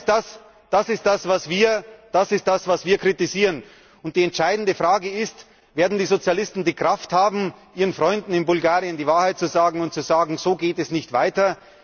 Das ist das, was wir kritisieren! Die entscheidende Frage ist Werden die Sozialisten die Kraft haben, ihren Freunden in Bulgarien die Wahrheit zu sagen und zu sagen So geht es nicht weiter!